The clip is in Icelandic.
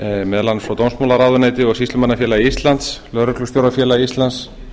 meðal annars frá dómsmálaráðuneyti og sýslumannafélagi íslands lögreglustjórafélagi íslands